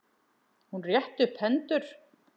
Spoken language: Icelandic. Hún rétti upp hendur.